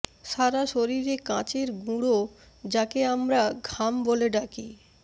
সারা শরীরে কাচের গুঁড়ো যাকে আমরা ঘাম বলে ডাকি